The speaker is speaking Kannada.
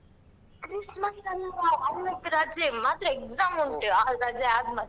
Christmas ಅಲ್ಲವಾ ಅಹ್ ಇವತ್ತು ರಜೆ ಮಾತ್ರ exam ಉಂಟು ಅಹ್ ರಜೆ ಮತ್ತೆ.